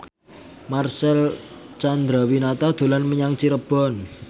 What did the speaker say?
Marcel Chandrawinata dolan menyang Cirebon